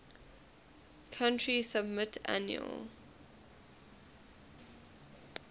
country submit annual